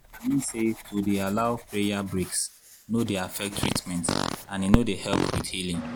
i mean say to dey allow prayer breaks no dey affect treament and e no dey help with healing.